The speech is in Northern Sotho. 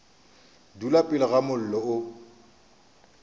dula pele ga mollo o